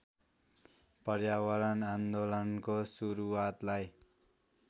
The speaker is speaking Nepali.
पर्यावरण आन्दोलनको सुरुवातलाई